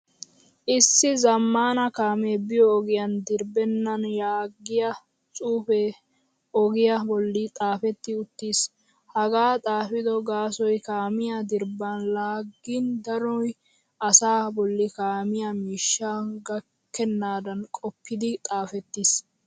Issi zamaana kaame biyo ogiyan dirbbenan yaagiyaa xuufe ogiya bolli xaafetti uttiis. Hagaa xaafido gaasoy kaamiyaa dirbban laagin danoy asa bolli kaamiyaa miishsha gakkenadan qoppidi xaafettiis.